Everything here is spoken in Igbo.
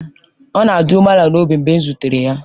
Ọ na-adị umeala n'obi mgbe m zutere ya.